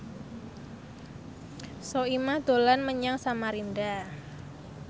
Soimah dolan menyang Samarinda